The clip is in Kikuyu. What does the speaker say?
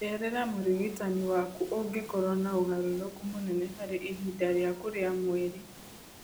Cerera mũrigitani waku ũngĩkorwo na ũgarũrũku mũnene harĩ ihinda rĩaku rĩa mweri.